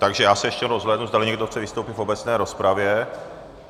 Takže já se ještě rozhlédnu, zdali někdo chce vystoupit v obecné rozpravě.